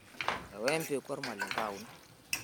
Ewa empeku olmalenke aun.